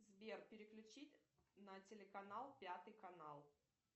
сбер переключить на телеканал пятый канал